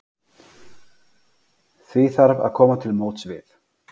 Því þarf að koma til móts við